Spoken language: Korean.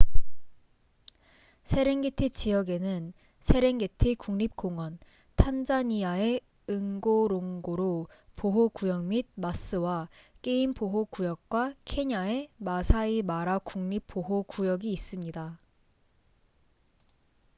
세렝게티 지역에는 세렝게티 국립 공원 탄자니아의 응고롱고로 보호 구역 및 마스와 게임 보호 구역과 케냐의 마사이 마라 국립 보호 구역이 있습니다